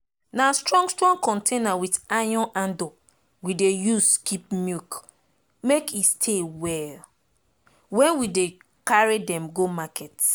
na strong strong container with iron handle we dey use keep milk make e stay well wen we dey carry dem go market